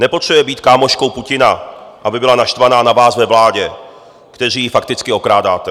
Nepotřebuje být kámoškou Putina, aby byla naštvaná na vás ve vládě, kteří ji fakticky okrádáte.